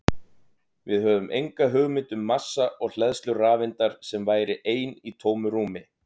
Við höfum enga hugmynd um massa og hleðslu rafeindar sem væri ein í tómu rúmi!